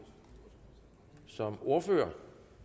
som ordfører